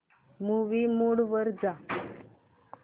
movie mode वर जा